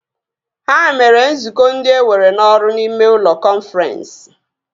Ha mere nzukọ ndị ewere n'ọrụ n'ime ụlọ kọnfrensị